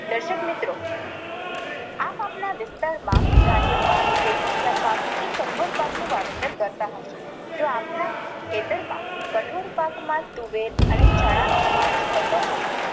દર્શક મિત્રો આપ આપના વિસ્તાર માં ધાન્ય પાક, તેલીબિયા પાક કે કઠોળ પાક નું વાવેતર કરતાં હશો. જો આપના ખેતર માં કઠોળ પાક માં તુવેર અને ચણા નો સમાવેશ થતો હોય